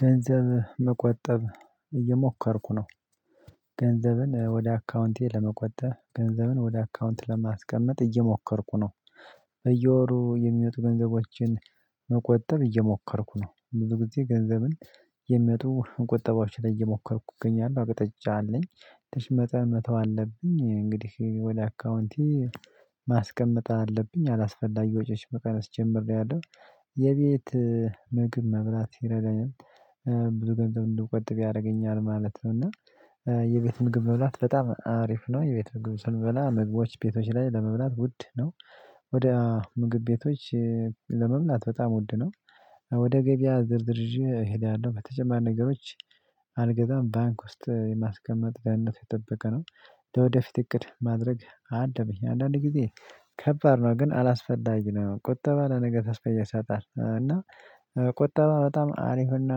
ገንዘብ መቆጠብ እየሞከርኩ ነው። ገንዘብን ወደ አካውንቴ ለመቆጠብ ገንዘብን ወደ አካውንት ለማስቀመጥ እየሞከርኩ ነው። እየወሩ የሚመጡ ገንዘቦችን መቆጠብ እየሞከርኩ ነው። ብዙ ጊዜ ገንዘብን የሚመጡ መቆጠቦችን ላይ እየሞከርኩ እገኛለሁ። መጠጫ አለኝ ትንሽ መጠን መተው አለብኝ እንግዲህ ወደ አካውንቴ ማስቀመጥ አለብኝ። አላስፈላጊ ወጪዎች መካከል ጀምሬያለሁ። የቤት ምግብ መብላት ሲረዳኝም ብዙ ገንዘብ እንድቆጥብ ያረገኛል ማለት ነው። እና የቤት ምግብ መብላት በጣም አሪፍ ነው። የቤት ምግብ ስንበላ ምግቦች ቤቶች ላይ ለመብላት ውድ ነው። ወደ ምግብ ቤቶች ለመብላት በጣም ወድነው ወደ ገበያ ዝርዝር ይዤ እሄዳለሁ። በተጨማሪ ነገሮች አልገዛም። ባንክ ውስጥ የማስቀመጥ ደህንነቱ የተጠበቀ ነው። ለወደፊት እቅድ ማድረግ አለብኝ አንዳንድ ጊዜ ከባድ ነው። ግን አላስፈላጊ ነው ቁጠባ ለነገ ተስፋ ይሰጣል። እና ቁጠባ በጣም አሪፍና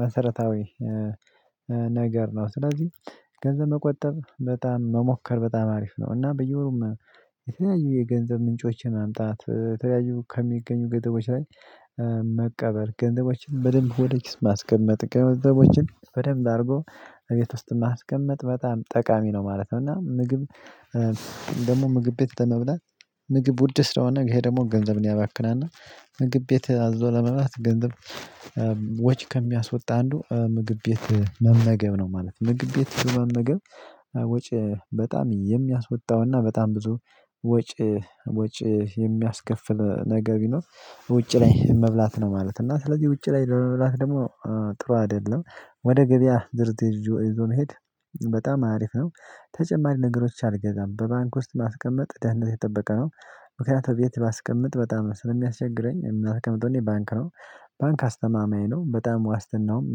መሰረታዊ ነገር ነው። ስለዚህ ገንዘብ መቆጠብ በጣም መሞከር በጣም አሪፍ ነው። እና በየወሩም የተለያዩ የገንዘብ ምንጮችን ማምጣት ከተለያዩ ከሚገኙ ግጥሞች ላይ። መቀበል ገንዘቦችን በደንብ ወደ ኪስ ማስቀመጥ ገንዘቦችን በደንብ አርጎ እቤት ውስጥ ማስቀመጥ በጣም ጠቃሚ ነው ማለት ነው። እና ምግብ ደግሞ ምግብ ቤት በመብላት ምግብ ውድ ስለሆነ ይሄ ደግሞ ገንዘብን ያባክናል። እና ምግብ ቤት አዞ ለመብላት ገንዘብ ወች ከሚያስወጣ አንዱ ምግብ ቤት መመገብ ነው ማለት ነው። ምግብ ቤት መመገብ ወጪ በጣም የሚያስወጣውና በጣም ብዙ ወጪ ወጪ የሚያስከፍል ነገር ቢኖር ውጪ ላይ መብላት ነው ማለት ነው። እና ስለዚህ ውጪ ላይ ለመብላት ደግሞ ጥሩ አይደለም። ወደ ገበያ ድርድር ይዞ መሄድ በጣም አሪፍ ነው። ተጨማሪ ነገሮች አልገዛም በባንክ ውስጥ ማስቀመጥ ደህንነቱ የጠበቀ ነው። ምክንያቱም ቤት ባስቀምጥ በጣም ስለሚያስቸግረኝ የምናስቀምጠው እኔ ባንክ ነው። ባንክ አስተማማኝ ነው በጣም ዋስትናውም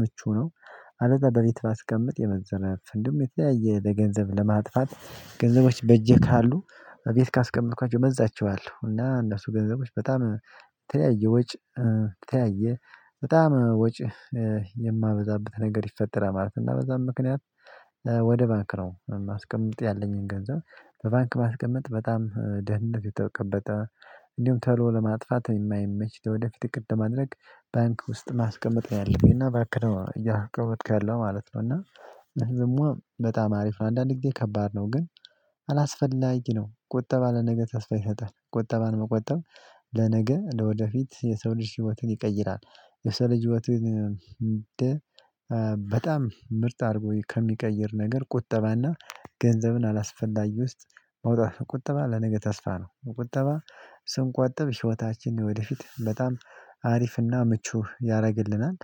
ምቹ ነው። አለዛ በፊት ባስቀምጥ የመዘናጋት እንዲሁም የተለያየ ለገንዘብ ለማጥፋት ገንዘቦች በጄ ካሉ እቤት ካስቀመጥኳቸው እመዛቸዋለው እና እነሱ ገንዘቦች በጣም የተለያየ ወጭ ተያየ በጣም ወጭ የማበዛበት ነገር ይፈጠራል ማለት ነው። በዛም ምክንያት ወደ ባንክ ነው ማስቀመጥ ያለኝን ገንዘብ በባንክ ማስቀመጥ በጣም ደህንነቱ የተቀበጠ። እንዲሁም ተሎ ለማጥፋት የማይመች ለወደፊት እቅድ ለማድረግ ባንክ ውስጥ ማስቀመጥ ነው ያለብኝና ባንክ ነው እያስቀመጥኩ ያለሁ ማለት ነው። እና ደሞ በጣም አሪፍ ነው አንዳንድ ጊዜ ከባድ ነው ግን አላስፈላጊ ነው። ቁጠባ ለነገ ተስፋ ይሰጣል። ቁጠባን መቆጠብ ለነገ ለወደፊት የሰው ልጅ ህይወትን ይቀይራል። የሰው ልጅ ህይወትን። በጣም ምርጥ አርጎ ከሚቀይር ነገር ቁጠባና ገንዘብን አላስፈላጊ ውስጥ ማውጣት ነው። ቁጠባ ለነገ ተስፋ ነው። ቁጠባ ስንቆጠብ ህይወታችን የወደፊት በጣም አሪፍና ምቹ ያረግልናል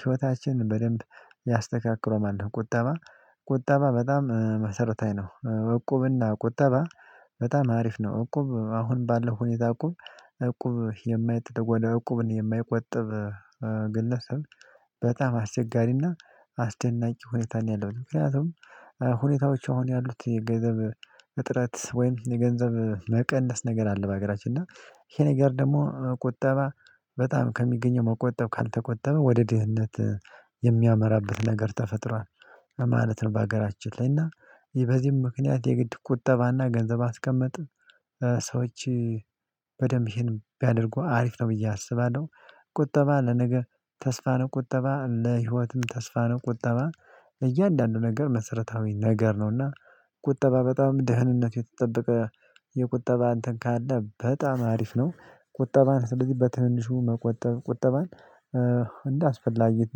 ህይወታችን በደንብ ያስተካክለዋል ማለ ነው። ቁጠባ ቁጠባ በጣም መሰረታዊ ነው። እቁብና ቁጠባ በጣም አሪፍ ነው። እቁብ አሁን ባለው ሁኔታ እቁብ እቁብ የማይጥ እቁብን የማይቆጥብ በጣም አስቸጋሪና አስደናቂ ሁኔታ ነው ያለው። ምክንያቱም ሁኔታዎች አሁን ያሉት የገንዘብ እጥረት ወይም የገንዘብ መቀነስ ነገር አለ። በሀገራችን እና ይሄ ነገር ደግሞ ቁጠባ በጣም ከሚገኘው መቆጠብ ካልተቆጠበ ወደ ድህነት የሚያመራበት ነገር ተፈጥሯል። ለማለት ነው። በሀገራችን ላይ እና የ በዚህም ምክንያት የግድ ቁጠባና ገንዘብ አስቀመጥ ሰዎች በደንብ ይሄን ቢያደርጉ አሪፍ ነው ብዬ አስባለሁ። ቁጠባ ለነገ ተስፋ ነው። ቁጠባ ለህይወትም ተስፋ ነው። ቁጠባ ለእያንዳንዱ ነገር መሰረታዊ ነገር ነውና። ቁጠባ በጣም ደህንነቱ የተጠበቀ የቁጠባ አንተን ካለ በጣም አሪፍ ነው። ቁጠባን ስለዚህ በትንሹ መቆጠብ ቁጠባን እንዳስፈላጊት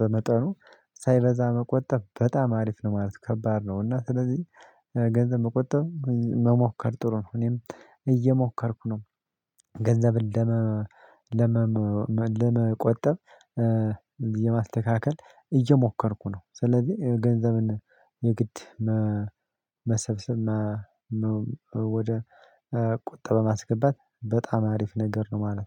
በመጠኑ ሳይበዛ መቆጠብ በጣም አሪፍ ነው። ማለት ከባድ ነው። እና ስለዚህ ገንዘብ መቆጠብ መሞከር ጥሩ ነው። እኔም እየሞከርኩ ነው። ገንዘብን ለመ ለመ ለመ ለመቆጠብ የማስተካከል እየሞከርኩ ነው። ስለዚህ ገንዘብን የግድ መሰብሰብ ወደ ቁጠባ ማስገባት በጣም አሪፍ ነገር ነው ማለት ነው